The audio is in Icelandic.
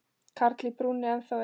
Karl í brúnni ennþá er.